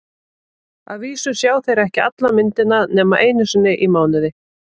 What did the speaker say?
Að vísu sjá þeir ekki alla myndina nema einu sinni í mánuði.